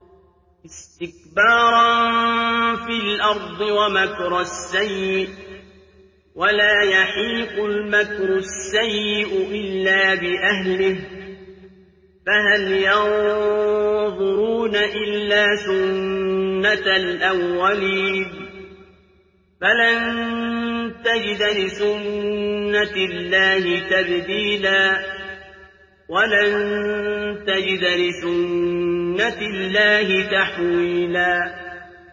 اسْتِكْبَارًا فِي الْأَرْضِ وَمَكْرَ السَّيِّئِ ۚ وَلَا يَحِيقُ الْمَكْرُ السَّيِّئُ إِلَّا بِأَهْلِهِ ۚ فَهَلْ يَنظُرُونَ إِلَّا سُنَّتَ الْأَوَّلِينَ ۚ فَلَن تَجِدَ لِسُنَّتِ اللَّهِ تَبْدِيلًا ۖ وَلَن تَجِدَ لِسُنَّتِ اللَّهِ تَحْوِيلًا